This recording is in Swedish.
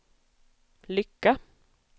lycka